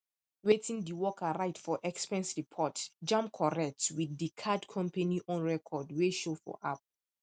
wetin di worker write for expense report jam correct with di card company own record wey show for app